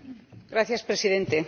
Señor Presidente,